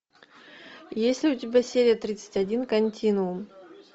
есть ли у тебя серия тридцать один континуум